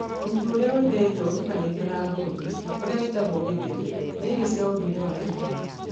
Mũtu ũrĩa ũhithĩtwo ũtukanĩtio na ngũyũ, ũrĩa wĩtagwo githeri, nĩ irio cia ũndũire wa andũ a Kikuyu.